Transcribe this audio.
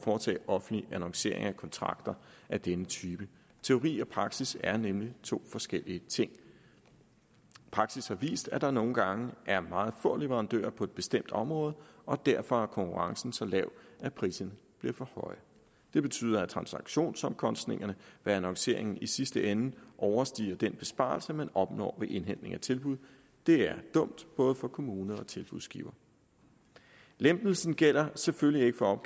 foretage offentlig annoncering af kontrakter af denne type teori og praksis er nemlig to forskellige ting praksis har vist at der nogle gange er meget få leverandører på bestemte områder og derfor er konkurrencen så lav at priserne bliver for høje det betyder at transaktionsomkostningerne ved annonceringen i sidste ende overstiger den besparelse man opnår ved indhentning af tilbud det er dumt både for kommuner og tilbudsgivere lempelsen gælder selvfølgelig ikke for